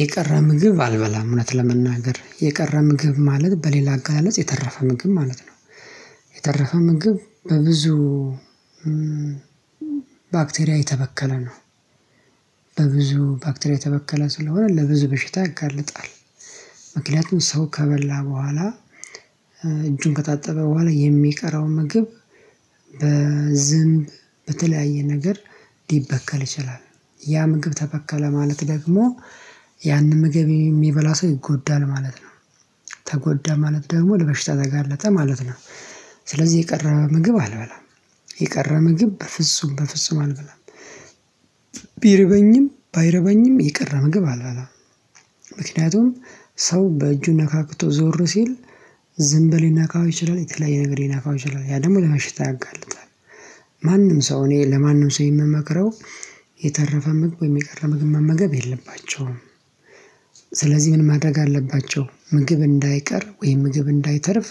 የቀረ ምግብ አልበላም እውነት ለመናገር የቀረ ምግብ ማለት በሌላ አገላለጽ የተረፈ ምግብ ማለት ነው። ምግብ በብዙ ባክቴሪያ የተበከለ ነው። በብዙ ባክቴርያ የተበከለ ስለሆነ ለብዙ በሽታ ያጋልጣል። ምክንያቱም ሰው ከበላ በኋላ እጁን ከታጠበ በኋላ የሚቀረው ምግብ በዝንብ በተለያየ ነገር ሊበከል ይችላል ያ ምግብ ተበከለ ማለት ደግሞ ያንን ምግብ የሚበላ ሰው ይጎዳል ማለት ነው። ተጎዳ ማለት ደግሞ ለበሽታ ዘጋለጠ ማለት ነው። ስለዚህ የቀረ ምግብ አልበላም። የቀረ ምግብ በፍጹም በፍጹም አልበላም። ባይርበኝም የቀረ ምግብ አልበላም። ምክንያቱም ሰው በእጁ ነካክቶ ዞር ሲል ዝም በል ይነካው ይችላል የተለያየ ነገር ይነካው ይችላል ያ ደግሞ ለመሽታ ያጋልጣል። ማንም ሰው እኔ ለማንም ሰው የምመክረው የተረፈ ምግብ የቀረ ምግብ መመገብ የለባቸውም። ምን? ማድረግ አለባቸው ምግብ እንዳይቀር ወይም ምግብ እንዳይተርፍ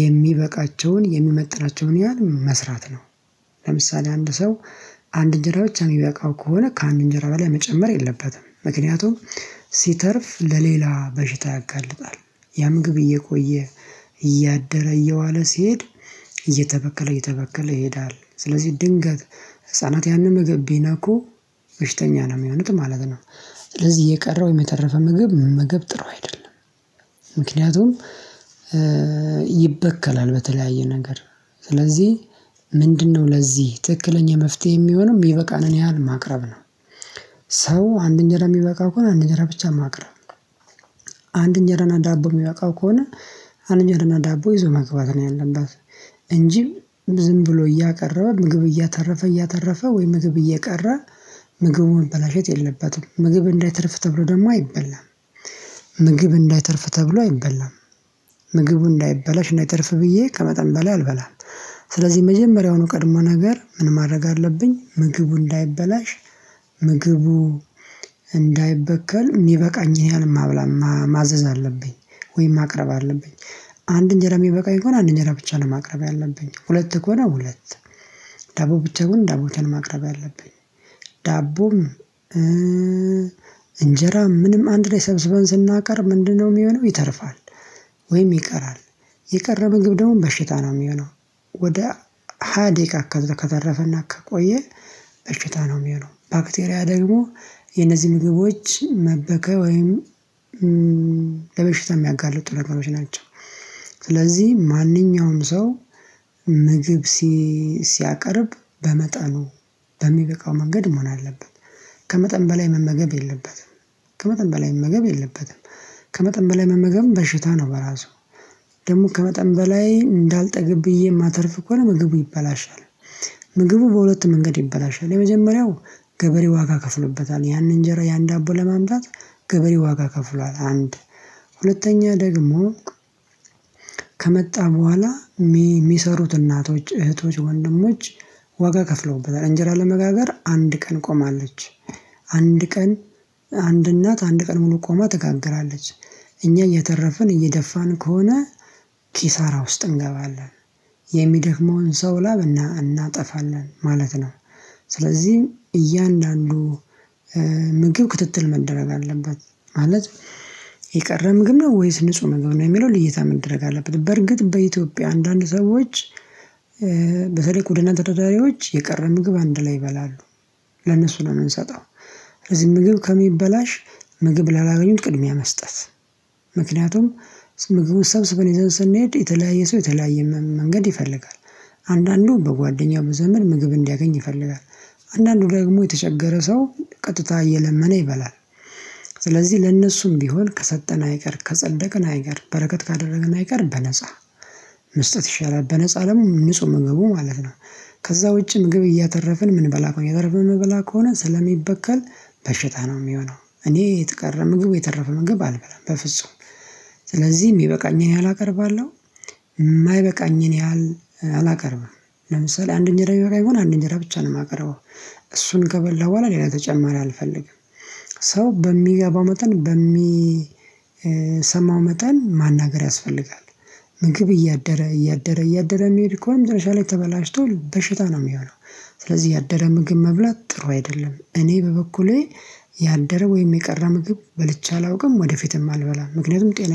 የሚበቃቸውን የሚመጥናቸውን ያህል መስራት ነው። ለምሳሌ አንድ ሰው አንድ እንጀራ ብቻ የሚበቃው ከሆነ ከአንድ እንጀራ በላይ መጨመር የለበትም። ምክንያቱም ሲተርፍ ለሌላ በሽታ ያጋልጣል። ያ ምግብ እየቆየ እያደረ እየዋለ ሲሄድ እየተበከለ እየተበከለ ይሄዳል ስለዚህ ድንገት ህፃናት ያንን ምግብ ቢነኩ በሽተኛ ነው የሚሆኑት ማለት ነው። ስለዚህ የቀረ ወይም የተረፈ ምግብ መመገብ ጥሩ አይደለም። ምክንያቱም ይበከላል በተለያየ ነገር ስለዚህ ምንድነው ለዚህ ትክክለኛ መፍትሄ የሚሆነው የሚበቃንን ያህል ማቅረብ ነው። ሰው አንድ እንጀራ የሚበቃው ከሆነ አንድ እንጀራ ብቻ ማቅረብ ነው። አንድ እንጀራ እና ዳቦ የሚበቃው ከሆነ አንድ ጃና ዳቦ ይዞ መግባት ነው ያለበት። እንጂ ዝም ብሎ እያቀረበ ምግብ እያተረፈ እያተረፈ ወይ ምግብ እየቀረ ምግቡን መበላሸት የለበትም። ምግብ እንዳይተርፍ ተብሎ ደግሞ አይበላም። ምግብ እንዳይተርፍ ተብሎ አይበላም። ምግቡ እንዳይበላሽ እንዳይተርፍ ብዬ ከመጠን በላይ አልበላም። ስለዚህ መጀመሪያውን ቀድሞ ነገር ምን ማድረግ አለብኝ ምግቡ እንዳይበላሽ። ምግቡ እንዳይበከል የሚበቃኝን ያህል ማብላ ማዘዝ አለብኝ ወይም ማቅረብ አለብኝ። አንድ እንጀራ የሚበቃኝ ከሆነ አንድ እንጀራ ብቻ ነው ማቅረብ ያለብኝ። ሁለት ከሆነ ሁለት ዳቦ ብቻውን ዳቦችን ማቅረብ ያለብኝ። ዳቦም እንጀራ ምንም አንድ ላይ ሰብስበን ስናቀርብ ምንድነው? የሚሆነው ይተርፋል። ወይም ይቀራል የቀረ ምግብ ደግሞ በሽታ ነው የሚሆነው። ወደ ሃያ ደቂቃ ከተረፈና ከቆየ በሽታ ነው የሚሆነው ባክቴሪያ ደግሞ የነዚህ ምግቦች መበከል ወይም ለመሽታ የሚያጋልጡ ነገሮች ናቸው። ስለዚህ ማንኛውም ሰው ምግብ ሲያቀርብ በመጣኑ በሚበቃው መንገድ መሆን አለበት። ከመጠን በላይ መመገብ የለበትም። ከመጠን በላይ መመገብ የለበትም። ከመጠን በላይ መመገብም በሽታ ነው በራሱ ደግሞ ከመጠን በላይ እንዳልጠግብ ብዬ የማተርፍ ኮሆነ ነው ምግቡ ይበላሻል። ምግቡ በሁለት መንገድ ይበላሻል። የመጀመሪያው ገበሬ ዋጋ ከፍሎበታል ያንን እንጀራ ያንድ አቦ ለማምጣት ገበሬ ዋጋ ከፍሏል አንድ ሁለተኛ ደግሞ ከመጣ በኋላ የሚሰሩት እናቶች እህቶች ወንድሞች ዋጋ ከፍለውበታል እንጀራ ለመጋገር አንድ ቀን ቆማለች። አንድ ቀን አንድ እናት አንድ ቀን ሙሉ ቆማ ትጋግራለች። እኛ እየተረፍን እየደፋን ከሆነ ኪሳራ ውስጥ እንገባለን። የሚደክመውን ሰው ላብ እናጠፋለን ማለት ነው። ስለዚህም እያንዳንዱ ምግብ ክትትል መደረግ አለበት። ማለት የቀረ ምግብ ነው ወይስ ንጹህ ምግብ ነው የሚለውን ልየታ መደረግ አለበት። በርግጥ በኢትዮጵያ አንዳንድ ሰዎች በተለይ ጎዳና ተደራዳሪዎች የቀረ ምግብ አንድ ላይ ይበላሉ። ለነሱ ነው የምንሰጠው። ስለዚህ ምግብ ከሚበላሽ ምግብ ላላገኙት ቅድሚያ መስጠት። ምክንያቱም ምግቡን ሰብስበን ይዘን ስንሄድ የተለያየ ሰው የተለያየ መንገድ ይፈልጋል። አንዳንዱ በጓደኛው ዘመን ምግብ እንዲያገኝ ይፈልጋል። አንዳንዱ ደግሞ የተቸገረ ሰው ቀጥታ እየለመነ ይበላል። ስለዚህ ለእነሱም ቢሆን ከሰጠን አይቀር ከጸደቅን አይቀር በረከት ካደረግን አይቀር በነፃ መስጠት ይሻላል በነፃ ደግሞ ንጹህ መግቡ ማለት ነው። ከዛ ውጪ ምግብ እያተረፍን ምን በላ ከሆነ የተረፈው መበላ ከሆነ ስለሚበከል በሽታ ነው የሚሆነው። እኔ የትቀረ ምግብ የተረፈ ምግብ አልበላም በፍጹም። ስለዚህ የሚበቃኝን ያህል አቀርባለሁ። የማይበቃኝን ያህል አላቀርብም። ለምሳሌ አንድ እንጀራ የሚበቃኝ ከሆነ አንድ እንጀራ ብቻ ነው የማቀረው። እሱን ከበላሁ በኋላ ሌላ ተጨማሪ አልፈልግም። ሰው በሚገባው መጠን በሚሰማው መጠን ማናገር ያስፈልጋል። ምግብ እያደረ እያደረ እያደረ የሚሄድ ከሆነ መጨረሻ ላይ ተበላሽቶ በሽታ ነው የሚሆነው። ስለዚህ ያደረ ምግብ መብላት ጥሩ አይደለም። እኔ በበኩሌ ያደረ ወይም የቀረ ምግብ በልቼ አላውቅም ወደፊትም አልበላም ምክንያቱም ጤና